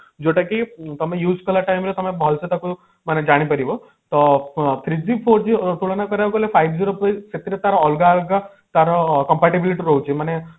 ଯୋଉଟା କି ତମେ use କଲା time ରେ ତମେ ଭଲସେ ତାକୁ ମାନେ ଜାଣି ପାରିବ ତ ଫ three G four G ତୁଳନା କରାଗଲେ five G ର ସେଥିରେ ତାର ଅଲଗା ଅଲଗା ତାର comparability ରହୁଛି ମାନେ